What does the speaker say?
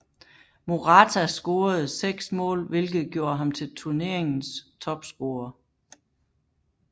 Morata scorede seks mål hvilket gjorde ham til turneringens topscorer